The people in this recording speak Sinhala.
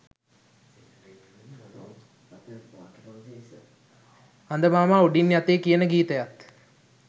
හඳ මාම උඩින් යතේ කියන ගීතයත්